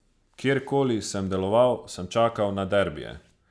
Kjerkoli sem deloval, sem čakal na derbije.